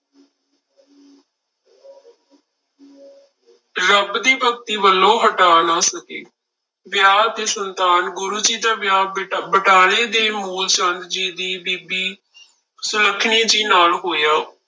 ਰੱਬ ਦੀ ਭਗਤੀ ਵੱਲੋਂ ਹਟਾ ਨਾ ਸਕੇ, ਵਿਆਹ ਤੇ ਸੰਤਾਨ, ਗੁਰੂ ਜੀ ਦਾ ਵਿਆਹ ਬਟ~ ਬਟਾਲੇ ਦੇ ਮੂਲ ਚੰਦ ਜੀ ਦੀ ਬੀਬੀ ਸੁਲੱਖਣੀ ਜੀ ਨਾਲ ਹੋਇਆ।